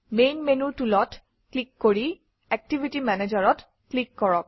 main মেনুৰ Tool অত click কৰি এক্টিভিটি Manager অত ক্লিক কৰক